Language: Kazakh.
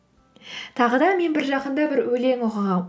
тағы да мен бір жақында бір өлең оқығанмын